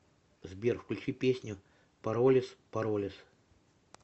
сбер включи песню паролес паролес